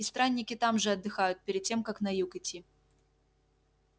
и странники там же отдыхают перед тем как на юг идти